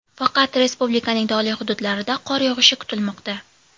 Faqat respublikaning tog‘li hududlarida qor yog‘ishi kutilmoqda.